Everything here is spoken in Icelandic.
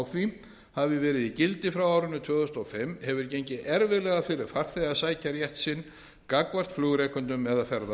því hafi verið í gildi frá árinu tvö þúsund og fimm hefur gengið erfiðlega fyrir farþega að sækja rétt sinn gagnvart flugrekendum eða